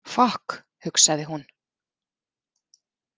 Fokk, hugsaði hún.